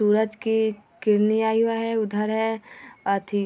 सूरज के किरणे आया हुआ है उधर है अथि --